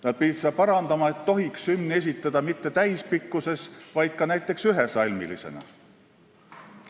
Nad pidid parandama, et hümni tohiks esitada ka mitte täispikkuses, vaid näiteks ühesalmilisena.